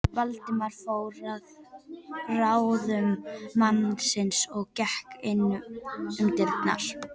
Valdimar fór að ráðum mannsins og gekk inn um dyrnar.